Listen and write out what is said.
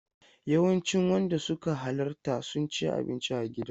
Yawancin wanda suka halarta sun ci abinci a gidan.